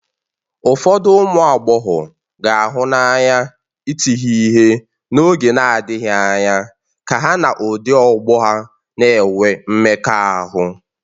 Ụfọdụ ụmụ agbọghọ ga-ahụ n'anya ịti ha ihe n'oge na-adịghị anya ka ha na ụdị ọgbọ a na-enwe mmekọahụ.